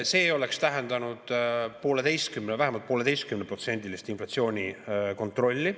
See oleks tähendanud vähemalt 1,5%-list inflatsiooni kontrolli.